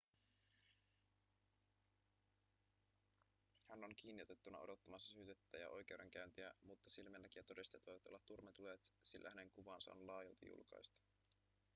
hän on kiinniotettuna odottamassa syytettä ja oikeudenkäyntiä mutta silminnäkijätodisteet voivat olla turmeltuneet sillä hänen kuvansa on laajalti julkaistu